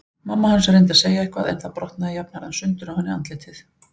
Mamma hans reyndi að segja eitthvað en það brotnaði jafnharðan sundur á henni andlitið.